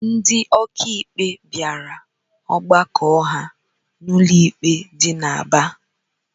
Ndị ọkàikpe bịara ọgbakọ ha n'ụlọikpe dị n'Aba